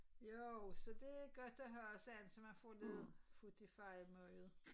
Jo så det godt at have sådan en så man får lidt fut i fejemøget